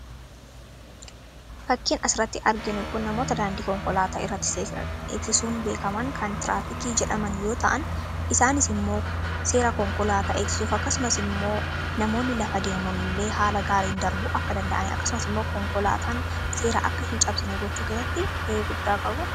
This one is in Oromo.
Fakkiin asiratti arginu kun namoota daandii konkolaataa irratti seera eegsisuun beekaman kan tiraafikii jedhaman yoo ta'an isaanis immoo seera konkolaataa eegsisuuf akkasumas immoo namoonni lafa deemullee haala gaariin darbu akka danda'an akkasumas immoo konkolaataan seera akka hin cabsine gochuu keesatti ga'ee guddaa qabu.